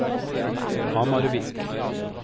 Hamarvik